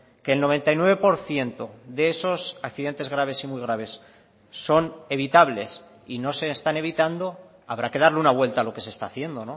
que el noventa y nueve por ciento de esos accidentes graves y muy graves son evitables y no se están evitando habrá que darle una vuelta a lo que se está haciendo